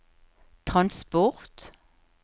transport